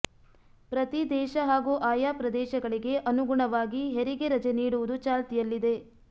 ಪ್ರತಿ ದೇಶ ಹಾಗೂ ಆಯಾ ಪ್ರದೇಶಗಳಿಗೆ ಅನುಗುಣವಾಗಿ ಹೆರಿಗೆ ರಜೆ ನೀಡುವುದು ಚಾಲ್ತಿಯಲ್ಲಿದೆ